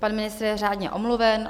Pan ministr je řádně omluven.